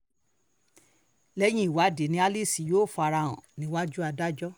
lẹ́yìn ìwádìí ni alice yóò fara hàn níwájú adájọ́